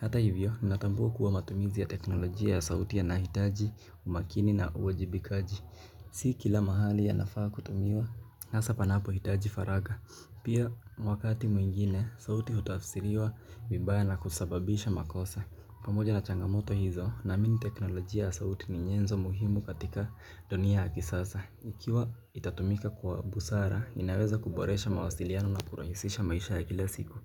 Hata hivyo, ninatambua kuwa matumizi ya teknolojia ya sauti yanahitaji, umakini na wajibikaji. Si kila mahali yanafaa kutumiwa, hasa panapo hitaji faragha. Pia, wakati mwingine, sauti hutafsiriwa vibaya na kusababisha makosa. Pamoja na changamoto hizo, naamini teknolojia ya sauti ni nyenzo muhimu katika dunia ya kisasa. Ikiwa itatumika kwa busara, inaweza kuboresha mawasiliano na kurahisisha maisha ya kila siku.